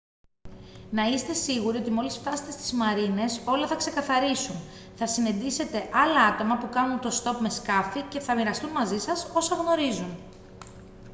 να είστε σίγουροι ότι μόλις φτάσετε στις μαρίνες όλα θα ξεκαθαρίσουν θα συναντήσετε άλλα άτομα που κάνουν ωτοστόπ με σκάφη και θα μοιραστούν μαζί σας όσα γνωρίζουν